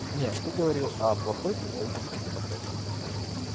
нет ты говорил о плохой представительской демократии